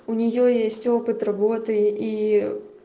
у нее есть опыт работы и